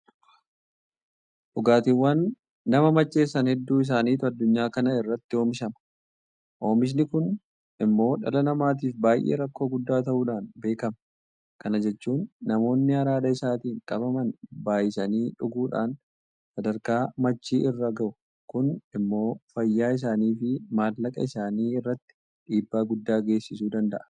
Dhugaatiiwwan nama macheessan hedduu isaaniitu addunyaa kana irratti oomishama. Oomishni kun immoo dhala namaatiif baay'ee rakkoo guddaa ta'uudhaan beekama. Kana jechuun namoonni araada isaatiin qabaman baay'isanii dhuguudhaan sadarkaa machii irra gahu. Kun immoo fayyaa isaaniifi maallaqa isaanii irratti dhiibbaa guddaa geessisuu danda'a.